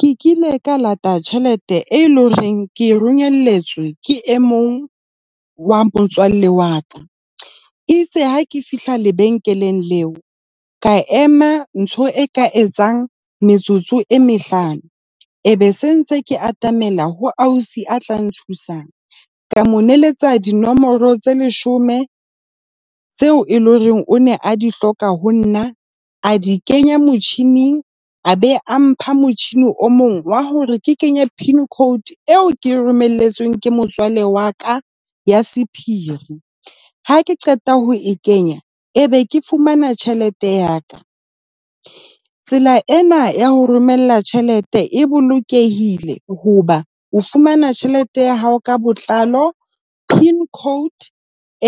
Ke kile ka lata tjhelete e leng hore ke romelletswe ke e mong wa motswalle wa ka. E itse ha ke fihla lebenkeleng leo, ka ema ntho e ka etsang metsotso e mehlano e be se ntse ke atamela ho ausi a tla nthusang. Ka mo neletsa dinomoro tse leshome tseo e leng hore o ne a di hloka ho nna, a di kenya motjhining, a be a mpha motjhini o mong wa hore ke kenya pin code eo ke romelletsweng ke motswalle wa ka ya sephiri. Ha ke qeta ho e kenya, e be ke fumana tjhelete ya ka. Tsela ena ya ho romela tjhelete e bolokehile hoba o fumana tjhelete ya hao ka botlalo. Pin code